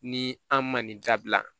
Ni an man nin dabila